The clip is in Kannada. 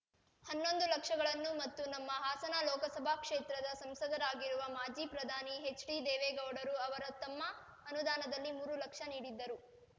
ಹನ್ನೊಂದು ಲಕ್ಷಗಳನ್ನು ಮತ್ತು ನಮ್ಮ ಹಾಸನ ಲೋಕಸಭಾ ಕ್ಷೇತ್ರದ ಸಂಸದರಾಗಿರುವ ಮಾಜಿ ಪ್ರಧಾನಿ ಎಚ್‌ಡಿ ದೇವೇಗೌಡರು ಅವರು ತಮ್ಮ ಅನುದಾನದಲ್ಲಿ ಮೂರು ಲಕ್ಷ ನೀಡಿದ್ದರು